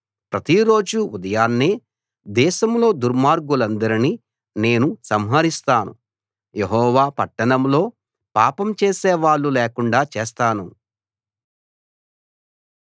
ప్రతిరోజూ ఉదయాన్నే దేశంలో దుర్మార్గులందరినీ నేను సంహరిస్తాను యెహోవా పట్టణంలో పాపం చేసేవాళ్ళు లేకుండా చేస్తాను